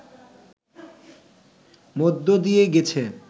মধ্য দিয়ে গেছে